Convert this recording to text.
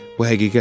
Bu həqiqət idi.